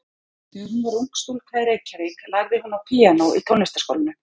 Þegar hún var ung stúlka í Reykjavík lærði hún á píanó í Tónlistarskólanum.